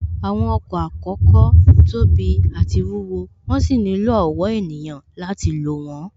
Àwọn ọkọ̀ àkọ́kọ́ tóbi àti wúwo, wón sì nílò ọ̀wọ́ ènìyàn láti lò wón